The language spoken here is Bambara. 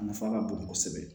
A nafa ka bon kosɛbɛ